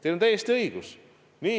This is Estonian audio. Teil on täiesti õigus.